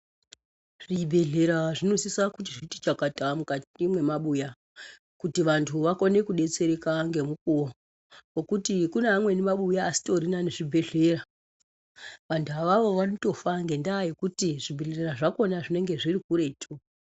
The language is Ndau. Zvibhedhlera zvinosisa kuti zviti chakata mukati mwemabuya kuti vantu vakone kudetsereka ngemukuwo ngekuti kune amweni mabuya asitorina nezvibhedhlera vantu avavo vanotofa ngendaa yekuti zvibhedhlera zvakona zvinenge zviri kuretu.